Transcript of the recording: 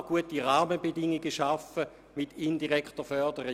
Kann man gute Rahmenbedingungen schaffen mit indirekter Förderung?